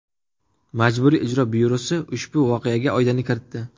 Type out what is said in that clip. Majburiy ijro byurosi ushbu voqeaga oydinlik kiritdi .